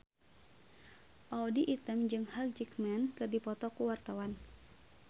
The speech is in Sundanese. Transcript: Audy Item jeung Hugh Jackman keur dipoto ku wartawan